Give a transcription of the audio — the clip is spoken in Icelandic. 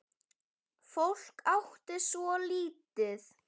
Fólk átti svo lítið.